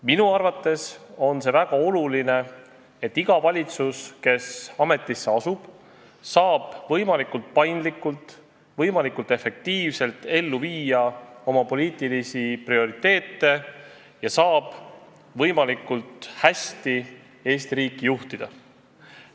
Minu arvates on väga oluline, et iga valitsus, kes ametisse asub, saab võimalikult paindlikult, võimalikult efektiivselt ellu viia oma poliitilisi prioriteete ja saab võimalikult hästi Eesti riiki juhtida.